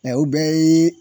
u bɛɛ yee